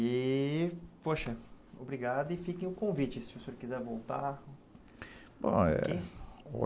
E poxa, obrigado e fiquem o convite se o senhor quiser voltar.